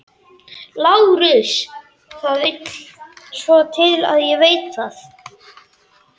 LÁRUS: Það vill svo til að ég veit það.